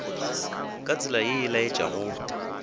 ka tsela ye e laetšago